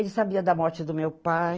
Ele sabia da morte do meu pai.